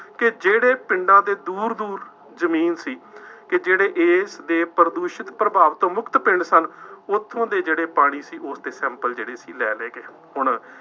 ਕਿ ਜਿਹੜੇ ਪਿੰਡਾਂ ਦੇ ਦੂਰ ਦੂਰ ਜ਼ਮੀਨ ਸੀ ਕਿ ਜਿਹੜੇ ਇਸ ਦੇ ਪ੍ਰਦੂਸ਼ਣ ਪ੍ਰਭਾਵਿਤ ਮੁਕਤ ਪਿੰਡ ਸਨ, ਉੱਥੋ ਦੇ ਜਿਹੜੇ ਪਾਣੀ ਸੀ, ਉਸਦੇ sample ਜਿਹੜੇ ਸੀ ਲੈ ਲਏ ਗਏ। ਹੁਣ